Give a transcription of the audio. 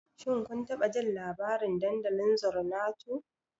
Shin kun taɓa jin labarin dandalin Zornato?